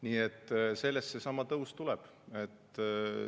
Nii et sellest see tõus tuleb.